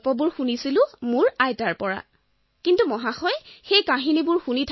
আৰু মই নিজৰ আইতাৰ পৰা শুনা সাধুবোৰ তেওঁলোকক শুনাইছিলো